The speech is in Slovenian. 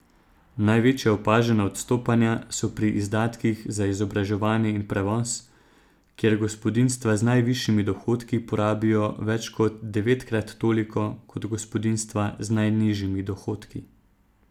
Največja opažena odstopanja so pri izdatkih za izobraževanje in prevoz, kjer gospodinjstva z najvišjimi dohodki porabijo več kot devetkrat toliko kot gospodinjstva z najnižjimi dohodki.